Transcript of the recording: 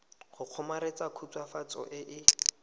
go kgomaretsa khutswafatso e e